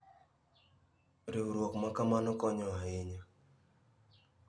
Riwruok ma kamano konyo ahinya.